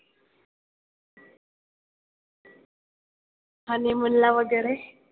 Honeymoon ला वगैरे?